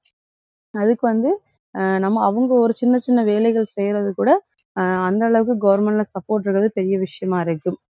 அதுக்கு வந்து அஹ் நம்ம அவங்க ஒரு சின்னச் சின்ன வேலைகள் செய்யிறது கூட அஹ் அந்த அளவுக்கு government ல support இருக்கிறது பெரிய விஷயமா இருக்கு.